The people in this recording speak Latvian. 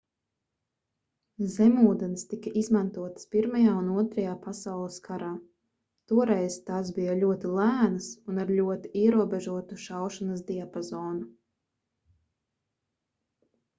zemūdenes tika izmantotas pirmajā un otrajā pasaules karā toreiz tās bija ļoti lēnas un ar ļoti ierobežotu šaušanas diapazonu